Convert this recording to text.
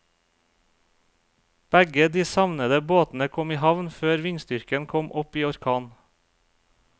Begge de savnede båtene kom i havn før vindstyrken kom opp i orkan.